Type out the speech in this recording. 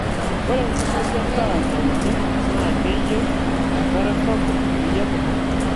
ore enkumoi endaa nauni naa keyieu enkare sapuk peyie ebulu